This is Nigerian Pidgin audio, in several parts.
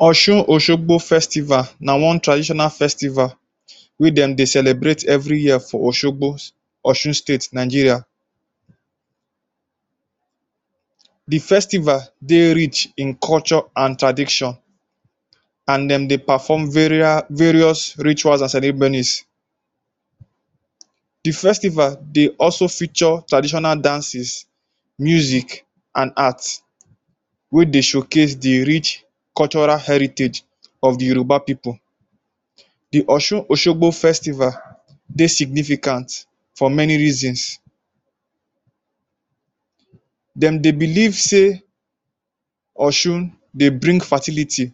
Osun-Osogbo festival na one traditional festival wey dem dey celebrate every year for Osogbo, Osun State, Nigeria. The festival dey rich in culture an tradition an dem dey perform various rituals an ceremonies. The festival dey also feature traditional dances, music, an art wey dey showcase the rich cultural heritage of the Yoruba pipu. The Osun-Osogbo festival dey significant for many reasons. Dem dey believe sey Osun dey bring fertility,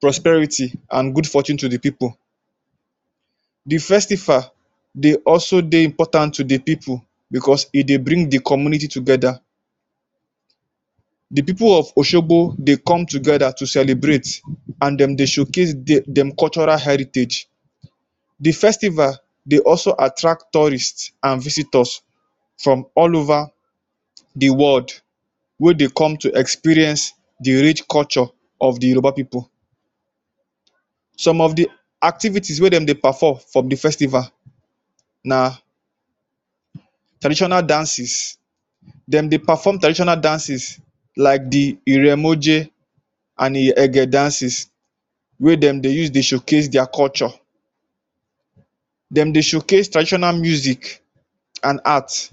prosperity, an good fortune to the pipu. The festival dey also dey important to the pipu becos e dey bring the community together. The pipu of Osogbo dey come together to celebrate an dem dey showcase de dem cultural heritage. The festival dey also attract tourist an visitors from all over the world wey dey come to experience the rich culture of the Yoruba pipu. Some of the activities wey dem dey perform from the festival na traditional dances. Dem dey perform traditional dances like the Iremoje, an Ege dances wey dem dey use dey showcase dia culture. Dem dey showcase traditional music an art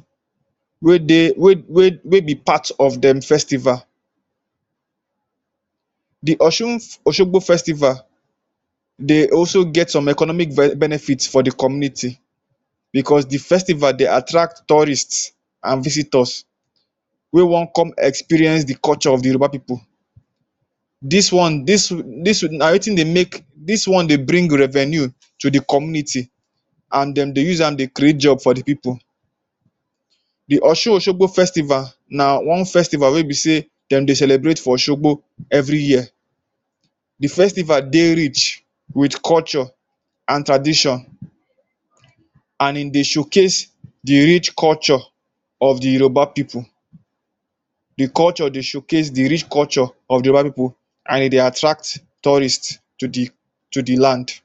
wey dey wey wey wey be part of dem festival. The Osun-Osogbo festival dey also get some economic benefit for the community becos the festival dey attract tourist an visitors wey wan come experience the culture of the Yoruba pipu. Dis one dis na wetin dey make dis one dey bring revenue to the community an dem dey use dey create job for the pipu. The Osun-Osogbo festival na one festival wey be sey dem dey celebrate for Osogbo every year. The festival dey rich with culture an tradition an ein dey showcase the rich culture of the Yoruba pipu. The culture dey showcase the rich culture of the Yoruba pipu an e dey attract tourist to the to the land.